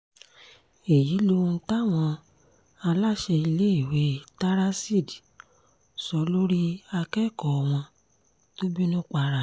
èyí lohun táwọn aláṣẹ iléèwé taraseed sọ lórí akẹ́kọ̀ọ́ wọn tó bínú para ẹ̀